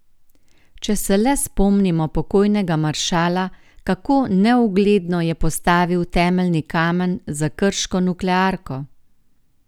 Če se le spomnimo pokojnega maršala, kako neugledno je postavil temeljni kamen za krško nuklearko!